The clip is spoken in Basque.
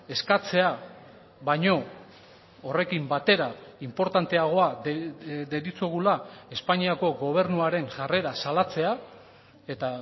eskatzea baino horrekin batera inportanteagoa deritzogula espainiako gobernuaren jarrera salatzea eta